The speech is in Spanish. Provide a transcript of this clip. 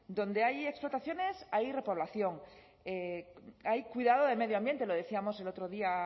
donde hay explotaciones hay repoblación hay cuidado del medio ambiente lo decíamos el otro día